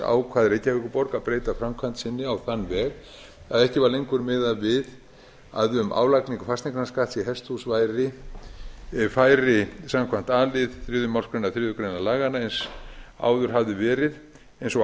ákvað reykjavíkurborg að breyta framkvæmd sinni á þann veg að ekki var lengur miðað við að um álagningu fasteignaskatts á hesthús færi samkvæmt a lið þriðju málsgrein þriðju grein laganna eins og